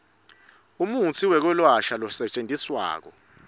umutsi wekwelapha losetjentiswako